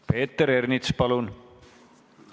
Peeter Ernits, palun!